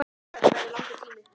Aðeins skart hennar situr eftir.